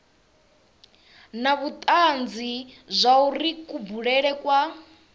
na vhutanzi zwauri kubulele kwa